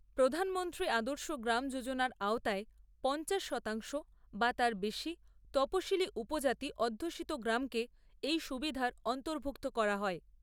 প্রধানমন্ত্রী আদর্শ গ্রাম যোজনার আওতায় পঞ্চাশ শতাংশ বা তার বেশি তপশিলি উপজাতি অধ্যূষিত গ্রামকে এই সুবিধার অন্তর্ভুক্ত করা হয়।